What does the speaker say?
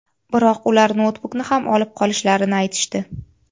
Biroq ular noutbukni ham olib qolishlarini aytishdi.